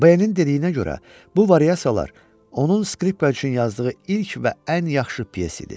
B-nin dilinə görə, bu variasiyalar onun skripka üçün yazdığı ilk və ən yaxşı pyes idi.